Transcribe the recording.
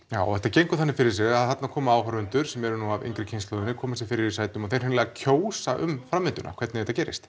já og þetta gengur þannig fyrir sig að þarna koma áhorfendur sem eru nú af yngri kynslóðinni koma sér fyrir í sætunum og þeir hreinlega kjósa um framvinduna hvernig þetta gerist